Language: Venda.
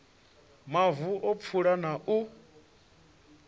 mavu a pfulo na u